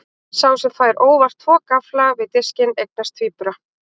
Sá sem fær óvart tvo gaffla við diskinn eignast tvíbura.